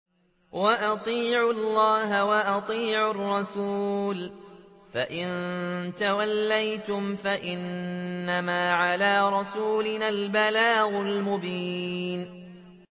وَأَطِيعُوا اللَّهَ وَأَطِيعُوا الرَّسُولَ ۚ فَإِن تَوَلَّيْتُمْ فَإِنَّمَا عَلَىٰ رَسُولِنَا الْبَلَاغُ الْمُبِينُ